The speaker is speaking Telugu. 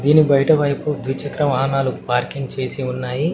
దీనికి బైట వైపు ద్వి చక్ర వాహనాలు పార్కింగ్ చేసి ఉన్నాయి.